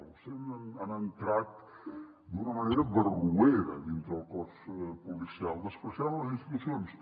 vostès han entrat d’una manera barroera dintre del cos policial menyspreant les institucions